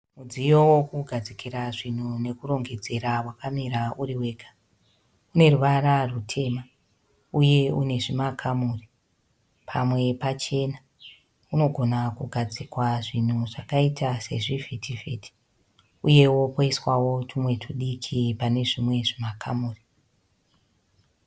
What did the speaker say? Mudziyo wokugadzikra zvinhu nekurongedzera wakamira uri wega. Uneruvara rwutema uye unezvimakamuri, pamwe pachena. Unogona kugadzikwa zvinhu zvakaita sezvivhitivhiti uyewo poiswawo tumwe tudiki panezvimwe zvimakamuri.